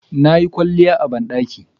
Nayi kwalliya a bandaki